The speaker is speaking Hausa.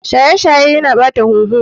Shaye shaye Yana ɓata huhu.